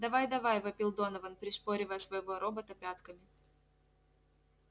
давай давай вопил донован пришпоривая своего робота пятками